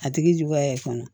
A tigi juguya kɔnɔ